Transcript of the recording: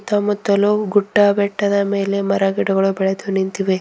ಸುತ್ತ ಮುತ್ತಲೂ ಗುಟ್ಟ ಬೆಟ್ಟದ ಮೇಲೆ ಮರ ಗಿಡಗಳು ಬೆಳೆದು ನಿಂತಿವೆ.